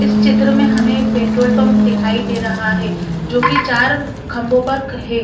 इस चित्र में हमें एक पेट्रोल पंप दिखाई दे रहा है जोकि चार खंभों पर है।